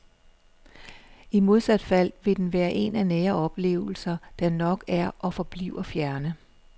I modsat fald vil den være en af nære oplevelser, der nok er og forbliver fjerne.